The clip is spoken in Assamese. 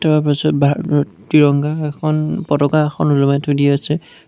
তাৰ পিছত বাহিৰত ত্ৰিৰঙা এখন পতাকা এখন ওলমাই থৈ দিয়া আছে।